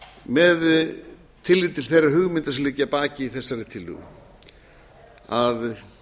með tilliti til þeirra hugmynda sem liggja að baki þessari tillögu að